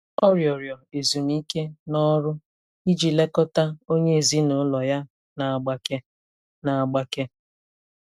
Ọ rịọrọ ezumike n'ọrụ iji lekọta onye ezinụlọ ya na-agbake. na-agbake.